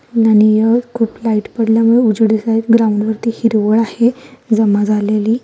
खूप लाइट पडल्यामुळे उजेड दिसत आहे ग्राऊंड वरती हिरवळ आहे जमा झालेली--